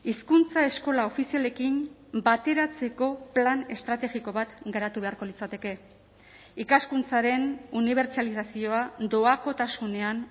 hizkuntza eskola ofizialekin bateratzeko plan estrategiko bat garatu beharko litzateke ikaskuntzaren unibertsalizazioa doakotasunean